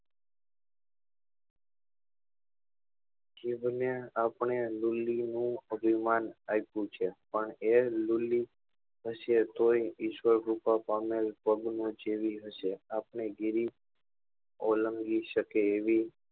જીભ ને આપડે લૂલી નું અભિમાન આપ્યું છે પણ એ લૂલી હશે તોય ઈશ્વર કૃપા પામેલ પદ્મ જેવી હશે આપડે જેવી ઓળંગી સકે એવી